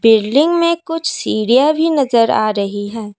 Building में कुछ सीढ़ियां भी नजर आ रही हैं।